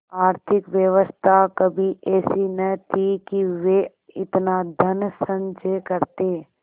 आर्थिक व्यवस्था कभी ऐसी न थी कि वे इतना धनसंचय करते